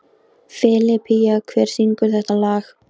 Filippía, hver syngur þetta lag?